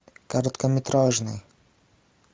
короткометражный